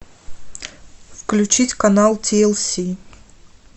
включить канал ти эл си